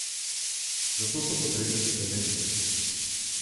Zato so potrebne spremembe.